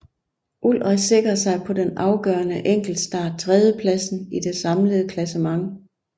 Ullrich sikrede sig på den afgørende enkeltstart tredjepladsen i det samlede klassement